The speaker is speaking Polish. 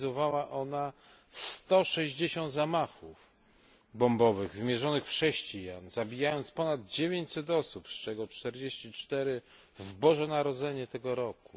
zorganizowała ona 160 zamachów bombowych wymierzonych w chrześcijan, zabijając ponad 900 osób, z czego 44 w Boże Narodzenie tego roku.